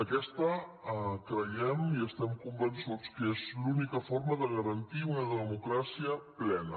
aquesta creiem i estem convençuts que és l’única forma de garantir una de·mocràcia plena